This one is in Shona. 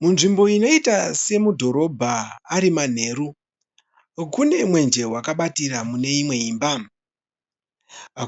Munzvimbo inoita semudhorobha ari manheru. Kune mwenje wakabatira muneimwe imba.